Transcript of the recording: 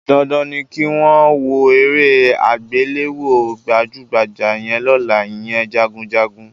Dandan ni kí n wo eré àgbéléwò gbàjúgbajà yẹn lọ́la, ìyẹn Jagunjagun